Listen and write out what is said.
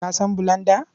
Ka san bulanda?